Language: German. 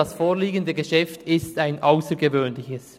Das vorliegende Geschäft ist ein aussergewöhnliches.